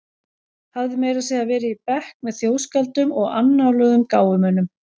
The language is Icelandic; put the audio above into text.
Hafði meira að segja verið í bekk með þjóðskáldum og annáluðum gáfumönnum.